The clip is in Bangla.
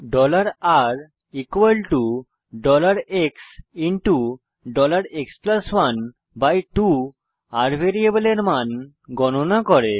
rxএক্স12 ভ্যারিয়েবল r এর মান গণনা করে